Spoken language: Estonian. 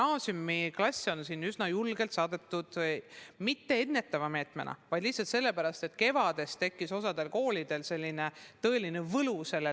Gümnaasiumiklasse on üsna julgelt distantsõppele saadetud, ja mitte ennetava meetmena, vaid lihtsalt sellepärast, et kevadel tundus osas koolides, et distantsõpe on päris võluv.